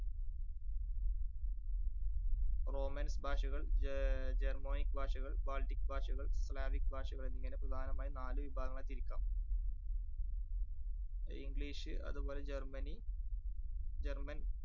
romans ഭാഷകൾ ജ~ germanic ഭാഷകൾ baltic ഭാഷകൾ slavic ഭാഷകൾ എന്നിങ്ങനെ പ്രധാനമായും നാല് വിഭാഗങ്ങളായി തിരിക്കാം. English അതുപോലെ ജർമനി german